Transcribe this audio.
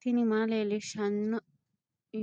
tini maa leelishshanno